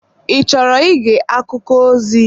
Ị chọrọ ige akụkọ ozi?